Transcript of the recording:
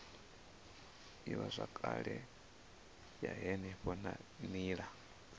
ivhazwakale ya henefho na nila